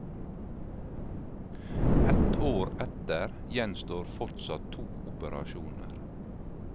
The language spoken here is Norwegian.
Ett år etter gjenstår fortsatt to operasjoner.